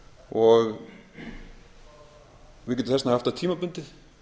og við getum þess vegna haft það tímabundið